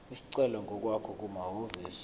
isicelo ngokwakho kumahhovisi